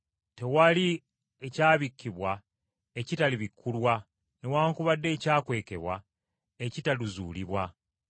Tewali ekyakisibwa ekitalimanyibwa, newaakubadde ekyakwekebwa ekitalizuulibwa.